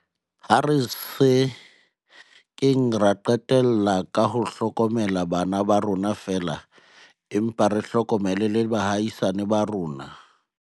Ha re se keng ra qetella ka ho hlokomela bana ba rona feela, empa re hlokomele le ba baahisani ba rona.